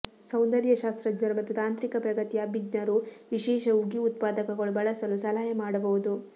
ಸೌಂದರ್ಯ ಶಾಸ್ತ್ರಜ್ಞರು ಮತ್ತು ತಾಂತ್ರಿಕ ಪ್ರಗತಿಯ ಅಭಿಜ್ಞರು ವಿಶೇಷ ಉಗಿ ಉತ್ಪಾದಕಗಳು ಬಳಸಲು ಸಲಹೆ ಮಾಡಬಹುದು